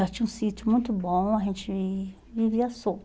Nós tinha um sítio muito bom, a gente vivia solto.